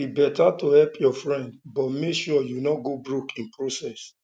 e better to help your friend but make sure you no go broke in process